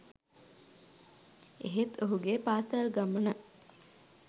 එහෙත් ඔහුගේ පාසැල් ගමන